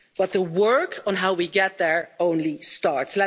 But the work on how we get there is only starting.